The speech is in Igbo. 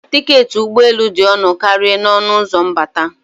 Tiketi ụgbọ elu dị ọnụ karịa n'ọnụ ụzọ mbata.